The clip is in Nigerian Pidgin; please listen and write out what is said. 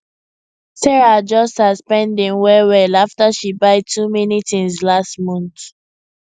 sarah adjust her spending well well after she buy too many things last month